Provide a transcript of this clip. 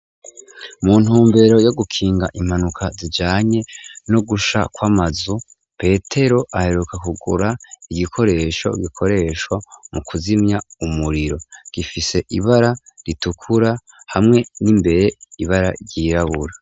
Mu ntumbero yo gukinga impanuka zijyanye no gusha kw'amazu Petero aheruka kugura igikoresho gikoreshwa mu kuzimya umuriro gifise ibara ritukura hamwe n'imbere ibara ryirabura.